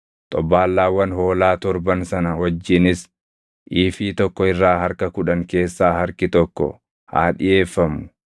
Xobbaallaawwan hoolaa torban sana wajjinis iifii tokko irraa harka kudhan keessaa harki tokko haa dhiʼeeffamu.